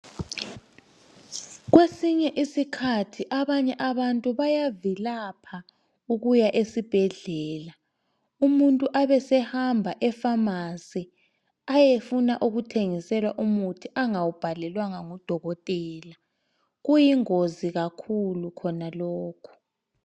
Kwesinye isikhathi abanye abantu bayavilapha ukuya esibhedlela umuntu abesehamba efamasi ayefuna ukuthengiselwa umuthi angawubhalelwanga ngudokotela kuyingozi kakhulu khona lokhu.